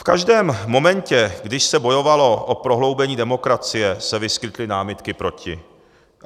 V každém momentě, když se bojovalo o prohloubení demokracie, se vyskytly námitky proti.